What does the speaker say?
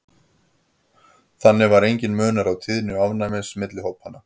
þannig var enginn munur á tíðni ofnæmis milli hópanna